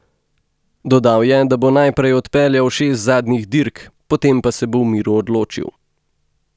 Dodal je, da bo najprej odpeljal šest zadnjih dirk, potem pa se bo v miru odločil.